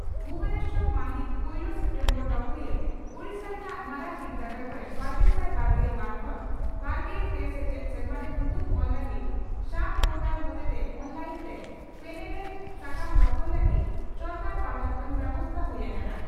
ᱵᱷᱩᱵᱚᱱᱮᱥᱚᱨ ᱢᱟᱹᱦᱤᱛ ᱯᱩᱭᱞᱟᱹ ᱥᱮᱯᱴᱮᱢᱵᱚᱨ (ᱰᱚᱜᱚᱨᱤᱭᱟᱹ) ᱺ ᱳᱰᱤᱥᱟ ᱨᱮᱱᱟᱜ ᱢᱟᱨᱟᱝ ᱵᱤᱨᱫᱟᱹᱜᱟᱲ ᱠᱚᱨᱮ ᱵᱟᱨᱜᱮᱥᱟᱭ ᱵᱟᱨᱜᱮᱞ ᱵᱟᱨ ᱠᱷᱚᱱ ᱵᱟᱨᱜᱮᱞ ᱯᱮ ᱥᱮᱪᱮᱫ ᱥᱮᱨᱢᱟᱨᱮ ᱧᱩᱛᱩᱢ ᱚᱞ ᱞᱟᱹᱜᱤᱫ ᱥᱟᱢ ᱯᱚᱨᱴᱟᱞ ᱦᱚᱛᱮᱛᱮ ᱚᱱᱞᱟᱭᱤᱱᱛᱮ ᱯᱮᱱᱮᱨᱮᱡ ᱥᱟᱠᱟᱢ ᱫᱚᱠᱷᱚᱞ ᱞᱟᱹᱜᱤᱫ ᱥᱚᱨᱠᱟᱨ ᱯᱟᱦᱴᱟ ᱠᱷᱚᱱ ᱵᱮᱵᱚᱥᱛᱟ ᱦᱩᱭ ᱦᱟᱠᱟᱱᱟ ᱾